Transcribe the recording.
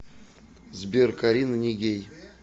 сбер карина нигей